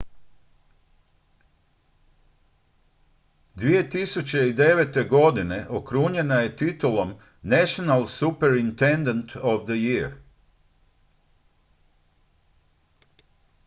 2009. godine okrunjena je titulom national superintendent of the year